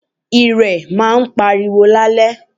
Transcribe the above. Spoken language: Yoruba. Ìrẹ̀ maa pariwo lálẹ́